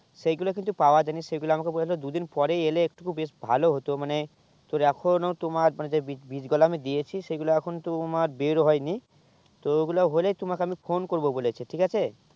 সেই গুলু কিন্তু পাওয়া যায় নি সেই গুলু আমাকে বলেছে দুই দিন পরে এলে একটু বেশ ভালো ই হতো মানে তোর এখনো তোমার যে বীজ বীজ গলা আমি দিয়েছি সেই গুলু এখন তোমার বের হয়েনি তো ঐই গুলু হলে আমি তোমাকে phone করবো বলেছে ঠিক আছে